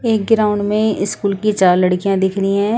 एक ग्राउंड में स्कूल की चार लड़कियाँ दिख रही हैं।